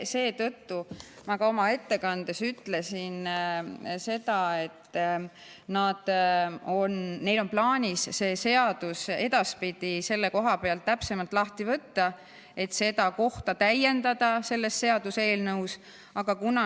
Seetõttu ma ütlesin ka oma ettekandes seda, et neil on plaanis see seadus edaspidi selle koha pealt täpsemalt lahti võtta ja seda kohta täiendada selles seaduseelnõus.